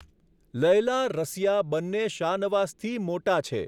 લૈલા, રસિયા, બંને શાનવાઝથી મોટા છે.